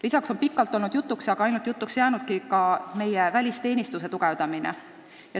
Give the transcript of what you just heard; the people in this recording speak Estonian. Pikalt on olnud jutuks – aga ainult jutuks on see jäänudki – meie välisteenistuse tugevdamine.